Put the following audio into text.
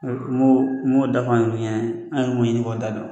U m'o m'o dafɔ an yɛrɛw ɲɛnɛ an yɛrɛw y'o ɲini k'o da dɔn.